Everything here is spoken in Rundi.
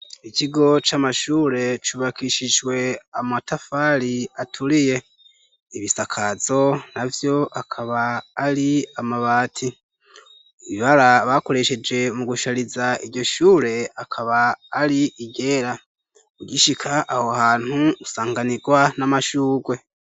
Ikigo c'amashure cubakishijwe amatafari aturiye . Ibisakazo na vyo akaba ari amabati. Ibara bakoresheje mu gushariza iryo shure akaba ari iryera. Ugishika aho hantu usanganirwa n'amashurwe.